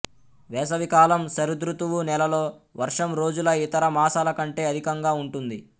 వేసవికాలం శరదృతువు నెలలో వర్షం రోజుల ఇతర మాసాల కంటే అధికంగా ఉంటుంది